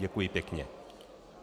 Děkuji pěkně.